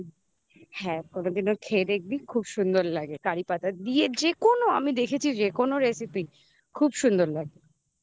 হ্যাঁ কোনদিনও খেয়ে দেখবি খুব সুন্দর লাগে কারিপাতা দিয়ে যেকোনো আমি দেখেছি যেকোনো recipe খুব সুন্দর লাগবে